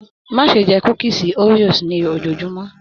Má ṣe jẹ kúkísí Oreos ni ojoojumọ!